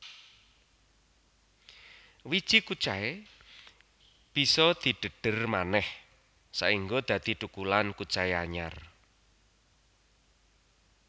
Wiji kucai bisa didhedher manéh saéngga dadi thukulan kucai anyar